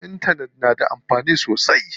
Intanet na da amfani sosai.